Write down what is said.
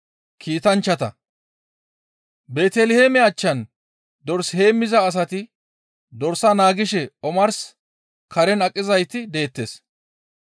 Beeteliheeme achchan dors heemmiza asati dorsa naagishe omarsara karen aqizayti deettes.